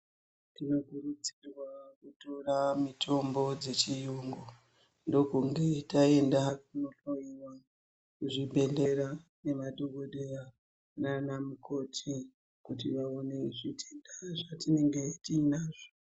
Tinokurudzirwa kutora mitombo dzechiyungu, ndokunge taenda kunohloyiwa kuzvibhehlera nemadhogodheya naana mukoti kuti vaone zvitenda zvatinenge tiinazvo.